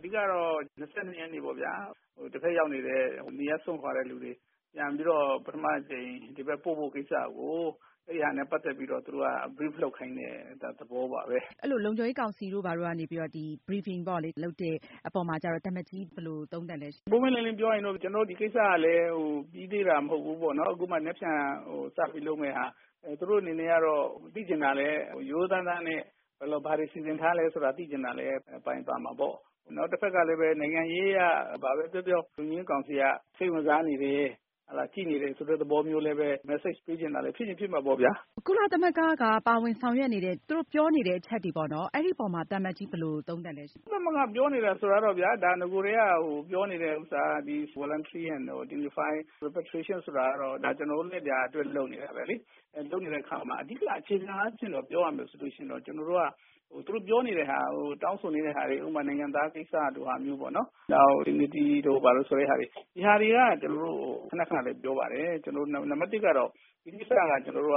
အဓိက ကတော့ ၂၂ ရက်နေ့ပေါ့ဗျာ။ တဖက်ရောက်နေတဲ့ နေရပ်စွန့်ခွာတဲ့ လူတွေ ပြန်ပြီးတော့ ပထမ အကြိမ် ဒီဘက် ပို့ဖို့ ကိစ္စကို အဲဒါနဲ့ ပတ်သက်ပြီးတော့ သူတို့က Brief လုပ်ခိုင်းတဲ့ သဘောပါဘဲ။ အဲလို လုံခြုံရေး ကောင်စီတို့ ဘာတို့ကနေ ဒီ Briefing ပေါ့လေ လုပ်တဲ့ အပေါ်မှာကျတော့ သံအမတ်ကြီး ဘယ်လို သုံးသပ်လဲရှင့်။ ပွင့်ပွင့်လင်းလင်း ပြောရရင်တော့ ကျနော်တို့ ဒီကိစ္စကလည်း ပြီးသေးတာ မဟုတ်ဘူးပေါ့နော်။ အခုမှ မနက်ဖြန် စပြီး လုပ်မယ့်ဟာ။ သူတို့ အနေနဲ့ကတော့ သိချင်တာလည်း ရိုးရိုးသားသားနဲ့ ဘာတွေ စီစဉ်ထားလဲ ဆိုတာလည်း သိချင်တာလည်း ပါချင်ပါမှာပေါ့။ တဖက်ကလည်း နိုင်ငံရေး အရ ဘာဘဲ ပြောပြော လုံခြုံရေး ကောင်စီက စိတ်ဝင်စားနေတယ် ကြည့်နေတယ်ဆိုတဲ့ သဘောမျိုး လည်းဘဲ Message ပေးချင်တာလည်း ဖြစ်ချင် ဖြစ်မှာပေါ့ဗျာ။ ကုလသမဂ္ဂက ပါဝင်ဆောင်ရွက်နေတဲ့ သူတို့ ပြောနေတဲ့ အချက်တွေ ပေါ့နော် အဲဒီအပေါ်မှာ သံအမတ်ကြီး ဘယ်လို သုံးသပ်လဲရှင့်။ ကုလသမဂ္ဂ ပြောနေတယ်ဆိုတာတော့ဗျာ ဒါ နဂိုတည်းက ပြောနေတဲ့ ဥစ္စာက ဒီ Voluntary and Unify Repatriation ဆိုတာကတော့ ဒါ ကျနော်တို့လည်း ဒါ အတွက် လုပ်နေတာဘဲလေ။ လုပ်နေတဲ့ အခါမှာ အဓိက အခြေခံအားဖြင့် ပြောရမယ် ဆိုလို့ ရှိရင်တော့ ကျနော်တို့က သူတို့ ပြောနေတဲ့ဟာကို တောင်းဆိုနေတဲ့ဟာတွေ ဥပမာ နိုင်ငံသား ကိစ္စလို ဟာမျိုးပေါ့၊ နောက် unity တို့ ဘာတို့ဆိုတဲ့ဟာတွေ ဒီဟာတွေက ကျနော်တို့ ခန ခနဘဲ ပြောပါတယ်။ နံပတ် ၁ ကတော့ ဒီကိစ္စက ကျနော်တို့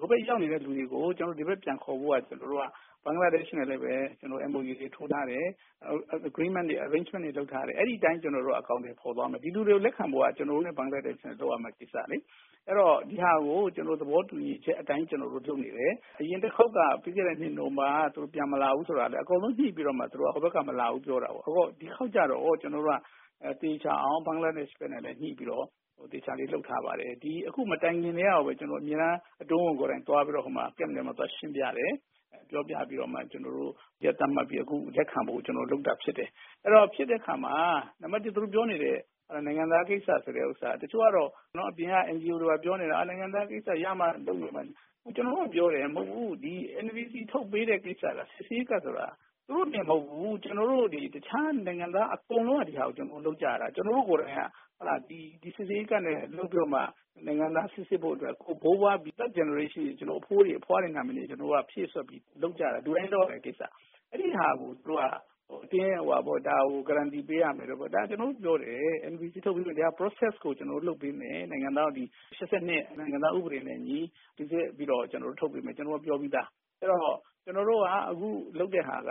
က ဟိုဘက် ရောက်နေတဲ့ လူတွေကို ကျနော်တို့ ဒီဘက် ပြန်ခေါ်ဖို့က ကျနော်တို့က ဘင်္ဂလားဒေရှ့်နဲ့ လည်းဘဲ ကျနော်တို့ MOU တွေ ထိုးထားတယ်။ Agreement တွေ Arrangement တွေ လုပ်ထားတယ်။ အဲဒီ အတိုင်း ကျနော်တို့က အကောင်အထည် ဖော်သွားမယ်။ ဒီလူတွေကို လက်ခံဖို့က ကျနော်တို့နဲ့ ဘင်္ဂလားဒေရှ့်က လုပ်ရမယ့် ကိစ္စလေ။ အဲတော့ ဒီဟာကို ကျနော်တို့ သဘောတူညီချက် အတိုင်း ကျနော်တို့ လုပ်နေတယ်။ အရင်တခေါက်က ပြီးခဲ့တဲ့ နှစ် နိုဝင်ဘာက သူတို့ ပြန်မလာဘူးဆိုတာလည်း အကုန် ညှိပြီးတော့မှ သူတို့က ဟိုဘက်က မလာဘူး ပြောတာ။ ဒီတခေါက်ကျတော့ ကျနော်တို့က သေချာအောင် ဘင်္ဂလားဒေရှ့် နဲ့လည်း ညှိပြီးတော့ သေချာလေး လုပ်ထားပါတယ်။ ဒီ အခု မတိုင်ခင်ကတည်းက ကိုဘဲ အမြဲတမ်း အတွင်းဝန် ကိုယ်တိုင် သွားပြီးတော့မှာ Camp ထဲမှာ သွားရှင်းပြတယ်။ ပြောပြပြီးတော့မှ ကျနော်တု့ိ ရက်သတ်မှတ်ပြီးမှ လက်ခံဖို့ ကျနော်တို့ လုပ်တာ ဖြစ်ပါတယ်။ အဲတော့ ဖြစ်တဲ့ အခါမှာ နံပတ် ၁ သူတို့ ပြောနေတဲ့ နိုင်ငံသား ကိစ္စ ဆိုတဲ့ ဥစ္စာက တချို့ကတော့နော် အပြင်က NGO တွေ ဘာတွေ ပြောနေတာ နိုင်ငံသား ကိစ္စ ရမှ လုပ်မယ် ဘာညာ။ ကျနော်တို့က ပြောတယ်။ မဟုတ်ဘူး ဒီ NVC ထုတ်ပေးတဲ့ ကိစ္စက စစ်ဆေးရေးကတ်ဆိုတာ သူတို့တင် မဟုတ်ဘူး ကျနော်တို့ ဒီ တခြား နိုင်ငံသား အကုန်လုံးက ဒီဟာကို လုပ်ကြရတာ။ ကျနော်တို့ ကိုယ်တိုင်က ဒီ စစ်ဆေးရေးကတ်နဲ့ လုပ်ပြီးတော့မှ နိုင်ငံသား စိစစ်ဖို့ အတွက် ဘိုးဘွား ဒီ Third Generation အထိ ကျနော်တို့ အဘိုးတွေ အဘွားတွေ ရဲ့ နာမည်တွေ ကျနော်တို့က ဖြည့်စွက်ပြီးတော့ လုပ်ကြတာ။ လူတိုင်း လုပ်ရမယ့် ကိစ္စ။ အဲဒီဟာကို သူတို့က အတင်း အဝှာပေါ့ ဒါကို Guaranty ပေးရမယ်တို့ ဘာတို့။ ကျနော်တို့ ပြောတယ် NVC လုပ်ပြီးတော့ ဒီ Process ကို လုပ်ပေးမယ်။ နိုင်ငံသား ဒီ ၈၂ နိုင်ငံသား ဥပဒေနဲ့ အညီ စိစစ်ပြီးတော့ ကျနော်တို့ ထုတ်ပေးမယ်။ ကျနော်တို့ ပြောပြီးသား။ ကျနော်တို့က အခု လုပ်တဲ့ဟာက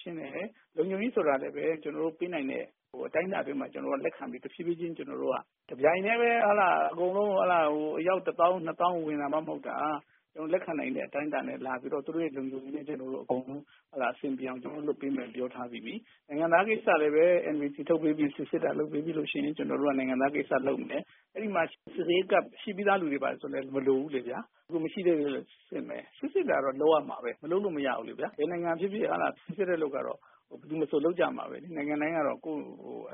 ရှင်းတယ်။ လုံခြုံရေး ဆိုတာလည်းဘဲ ကျနော်တို့ ပေးနိုင်တဲ့ အတိုင်းအတာ အတွင်းမှာ ကျနော်တို့က လက်ခံပြီး ကျနော်တို့ တဖြည်းဖြည်းချင်း ကျနော်တို့က တပြိုင်တည်းဘဲ ဟုတ်လား အကုန်လုံး ဟုတ်လား ဟို အယောက် ၁၀၀၀၀ - ၂၀၀၀၀ ဝင်တာမှ မဟုတ်တာ။ လက်ခံနိုင်တဲ့ အတိုင်းအတာနဲ့ လာပြီးတော့ သူတို့ရဲ့ လုံခြုံရေး အကုန်လုံး ကျနော်တို့ အဆင်ပြေအောင် လုပ်ပေးမယ် ပြောထားပြီးပြီ။ နိုင်ငံသား ကိစ္စ ကိုလည်း NVC ထုတ်ပေးပြီး စစ်ဆေးတာ လုပ်ပေးပြီးလို့ ရှိရင် ကျနော်တို့က နိုင်ငံသား ကိစ္စ လုပ်မယ်။ အဲဒီမှာ စိစစ်ရေးကတ် ဖြည့်ပြီးသား လူတွေ ဘာတွေ ဆိုလည်း မလိုဘူးလေဗျာ။ မရှိသေးဘူးဆို စစ်ဆေးမယ်။ စစ်ဆေးတာတော့ လုပ်ရမှာဘဲ။ မလုပ်လို့ မရဘူးလေဗျာ။ ဘယ်နိုင်ငံ ဖြစ်ဖြစ် ဟုတ်လား စစ်ဆေးတဲ့ အလုပ်ကတော့ ဘယ်သူမဆို လုပ်ကြမှာဘဲလေ။ နိုင်ငံတိုင်း ကတော့ ကိုယ့်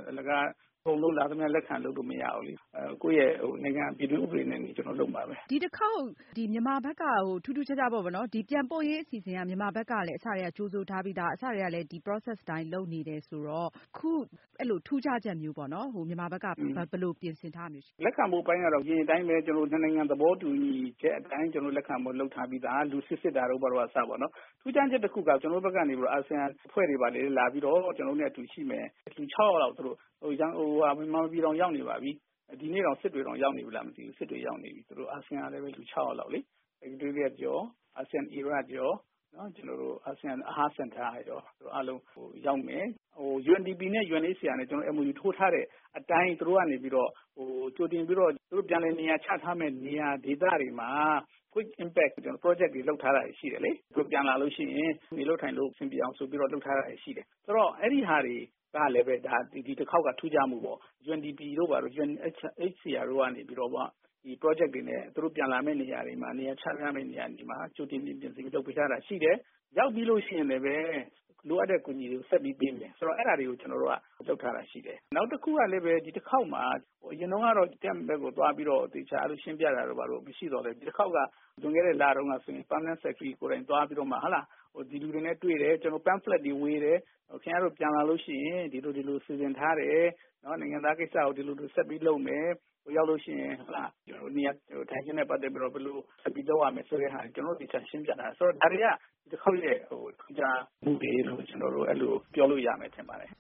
အလကား အကုန်လုံး လာသမျှ လက်ခံ လုပ်လို့ မရဘူးလေ။ ကိုယ့်ရဲ့ နိုင်ငံ ပြည်တွင်း ဥပဒေတွေနဲ့ အညီ ကျနော်တို့ လုပ်မှာဘဲ။ ဒီတခေါက် ဒီမြန်မာဘက်က ထူးထူးခြားခြားပေါ့နော် ပြန်ပို့ရေး အစီအစဉ်က မြန်မာဘက်ကလည်း အစကတည်းက ကြိုဆိုထားပြီးသား အစကတည်းက ဒီ Process အတိုင်း လုပ်နေတယ်ဆိုတော့ အခု ထူးခြားချက်မျိုးပေါ့နော် မြန်မာဘက်က ဘယ်လို ပြင်ဆင်ထားတာမျိုး ရှိလဲ။ လက်ခံမှု အပိုင်းကတော့ အရင်အတိုင်းဘဲ ကျနော်တို့ နှစ်နိုင်ငံ သဘောတူညီချက် အတိုင်း လက်ခံဖို့ လုပ်ထားပြီးသား။ ဆေးစစ်တာတို့ ဘာတို့က အစပေါ့နော်။ ထူးခြားချက် တခုက ကျနော်တို့ဘက်က နေပြီးတော့ အာဆီယံ အဖွဲ့တွေ ဘာတွေ လာပြီးတော့ ကျနော်တို့နဲ့ အတူရှိမယ်။ လူ ၆ ယောက်လောက် မြန်မာပြည်တောင် ရောက်နေပါပြီ။ ဒီနေ့တောင် စစ်တွေတောင် ရောက်နေပြီလား မသိဘူး။ စစ်တွေ ရောက်နေပြီ သူတို့ အာဆီယံကလည်း လူ ၆ ယောက်လောက်လေ။ ဟို UNDP နဲ့ UNHCR နဲ့ ကျနော်တို့ MOU ထိုးထားတဲ့ အတိုင်း သူတို့ ကနေပြီးတော့ ဟိုကြိုတင်ပြီးတော့ ပြန်လည်နေရာချထားမယ့် နေရာ ဒေသတွေမှာ Quick Impact Project တွေ လုပ်ထားတာတွေ ရှိတယ်လေ။ သူတို့ ပြန်လာလို့ ရှိရင် နေလို့ ထိုင်လို့ အဆင်ပြေအောင် ဆိုပြီးတော့ လုပ်ထားတာ ရှိတယ်။ ဆိုတော့ အဲဒီဟာတွေကလည်းဘဲ ဒီတခေါက်က ထူးခြားမှုပေါ့။ UNDP တို့ ဘာတို့ UNHCR တို့က နေပြီးတော့မှ ဒီ ပရောဂျက်တွေနဲ့ သူတို့ ပြန်လာမယ့် နေရာတွေမှာ နေရာချထားမယ့် နေရာတွေမှာ ကြိုတင် ပြင်ဆင်ပေးထားတာ ရှိတယ်။ ရောက်ပြီးလို့ ရှိရင်လည်းဘဲ လိုအပ်တဲ့ အကူအညီတွေကို ဆက်ပြီး ပေးမယ်။ ဆိုတော့ အဲဒါတွေကို ကျနော်တို့က လုပ်ထားတာ ရှိတယ်။ နောက်တခုကလည်းဘဲ ဒီတခေါက်မှာ အရင်တုန်းကတော့ Camp ထဲကို သွားပြီးတော့သေချာ ရှင်းပြတာတို့ ဘာတို့ မရှိသော်လည်းဘဲ ဒီတခေါက်က လွန်ခဲ့တဲ့ လတုန်းက ဆိုရင် Permanent Secretary ကိုယ်တိုင် သွားပြီးတော့မှ ဒီလူတွေနဲ့ တွေ့တယ်၊ ကျနော်တို့ Pamphlet တွေ ဝေတယ်၊ ခင်ဗျားတို့ ပြန်လာလို့ ရှိရင် ဒီလို ဒီလို စီစဉ်ထားတယ်။ နိုင်ငံသား ကိစ္စကို ဒီလို ဒီလို ဆက်ပြီး လုပ်မယ်။ ဟိုရောက်လို့ ရှိရင် နေရာထိုင်ခင်းနဲ့ ပတ်သက်ပြီးတော့ ဘယ်လို ဆက်ပြီး လုပ်ရမယ်ဆိုတဲ့ဟာတွေကို ကျနော်တို့ သေချာ ရှင်းပြထားတယ် ဆိုတော့ ဒါတွေက ဒီတခေါက်ရဲ့ ထူးခြားမှုတွေလို့ ကျနော်တို့ အဲလို ပြောလို့ ရမယ် ထင်ပါတယ်